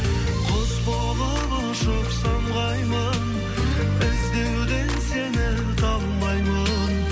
құс болып ұшып самғаймын іздеуден сені талмаймын